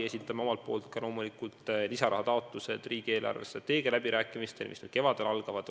Esitame omalt poolt ka loomulikult lisarahataotlused riigi eelarvestrateegia läbirääkimistel, mis nüüd kevadel algavad.